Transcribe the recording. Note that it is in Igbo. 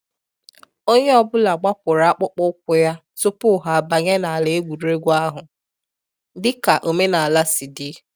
Onye ọ bụla gbapụrụ akpụkpọ ụkwụ ya tupu ha abanye n’ala egwuregwu ahụ, dịka omenala si di